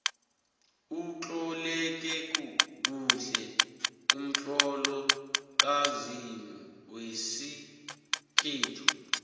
utloleke kuhle umtlolo kazimu wesikhethu